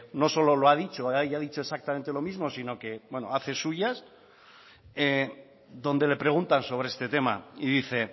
no solo lo ha dicho haya dicho exactamente lo mismo sino que bueno hace suyas donde le preguntan de este tema y dice